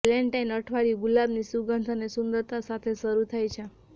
Valentine અઠવાડિયું ગુલાબની સુગંધ અને સુંદરતા સાથે શરૂ થાય છે